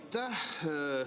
Aitäh!